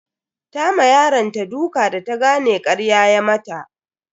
Ta ma yaronta duka da ta gane karya ya mata.